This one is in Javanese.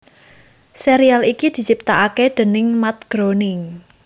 Sérial iki diciptakaké déning Matt Groening